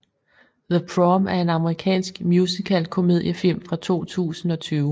The Prom er en amerikansk musical komediefilm fra 2020